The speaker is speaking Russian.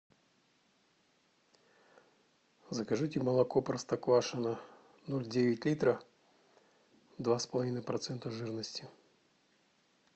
закажите молоко простоквашино ноль девять литра два с половиной процента жирности